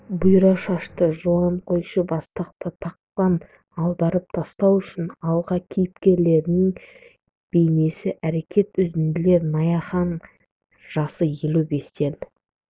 бұйра шашты жуан қойшы бастықты тақтан аударып тастау үшін алға кейіпкерлерінің бейнесі әрекет үзінділер наяхан жасы елу бестен